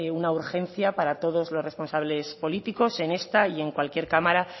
una urgencia para todos los responsables políticos en esta y en cualquier cámara